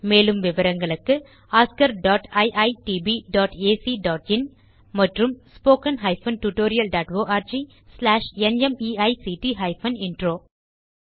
மேலும் விவரங்களுக்கு oscariitbacஇன் மற்றும் spoken tutorialorgnmeict இன்ட்ரோ